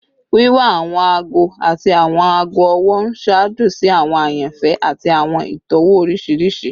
Wiwa awọn aago ati awọn aago ọwọ n ṣaajo si awọn ayanfẹ ati awọn itọwo oriṣiriṣi